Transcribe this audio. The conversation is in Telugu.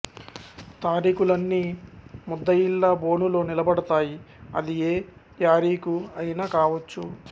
తారీఖులన్ని ముద్దయిల్లా బొనులో నిలబడతాయి అదిఏ యారీఖు అయినా కావచ్చు